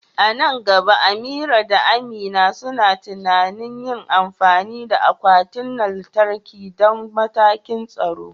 A nan gaba, Amira da Amina suna tunanin yin amfani da akwatin lantarki don matakan tsaro.